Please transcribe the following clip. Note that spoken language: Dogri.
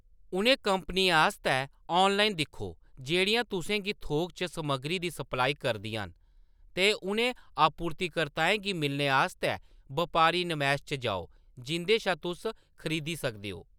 उ'नें कंपनियें आस्तै ऑनलाइन दिक्खो जेह्‌‌ड़ियां तुसें गी थोक च समग्गरी दी सप्लाई करदियां न ते उ'नें आपूर्तिकर्ताएं गी मिलने आस्तै बपारी नमैश च जाओ जिंʼदे शा तुस खरीदी सकदे हो।